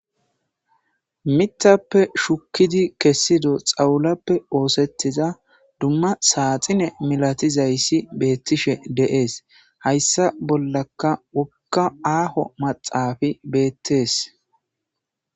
Mithappe shukidi kessida xawulappe osetidda duma saxinne malatidayisi betishe deyesi, hyissa bollakka wogga ahho maxafeyi bettesi.